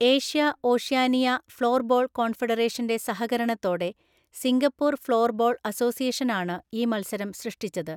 Asia Oceania floorball കോൺഫെഡറേഷന്റെ സഹകരണത്തോടെ Singapore floorball അസോസിയേഷനാണ് ഈ മത്സരം സൃഷ്ടിച്ചത്.